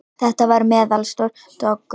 Þetta var meðalstór doggur.